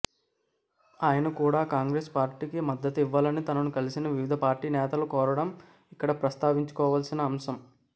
ఆయన కూడా కాంగ్రెస్ పార్టీకి మద్దతు ఇవ్వాలని తనను కలిసిన వివిధ పార్టీల నేతలను కోరడం ఇక్కడ ప్రస్తావించుకోవాల్సిన అంశం